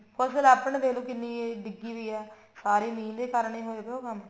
ਫਸਲ ਆਪਣੇ ਦੇਖਲੋ ਕਿੰਨੀ ਡਿੱਗੀ ਹੋਈ ਹੈ ਸਾਰਾ ਮੀਂਹ ਦੇ ਕਾਰਨ ਹੀ ਹੋਇਆ ਪਿਆ ਉਹ ਕੰਮ